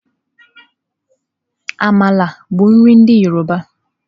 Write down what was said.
Àmàla bụ nri ndị yọrọba.